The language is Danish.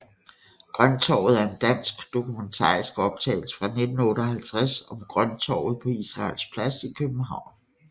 Grønttorvet er en dansk dokumentarisk optagelse fra 1958 om Grønttorvet på Israels Plads i København